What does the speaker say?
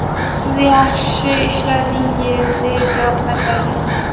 Siz yaxshi ishladingiz”, deya javob qaytargan.